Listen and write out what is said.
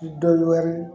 Dɔ wɛrɛ